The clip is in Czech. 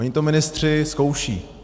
Oni to ministři zkoušejí.